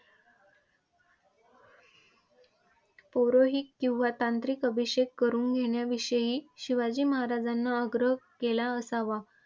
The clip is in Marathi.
पुरोहित किंवा तांत्रिक अभिषेक करून घेण्याविषयी शिवाजी महाराजांना आग्रह केला असावा.